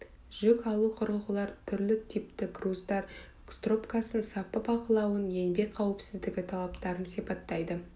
жүк алу құрылғыларын түрлі типті груздар стропкасын сапа бақылауын еңбек қауіпсіздігі талаптарын сипаттайды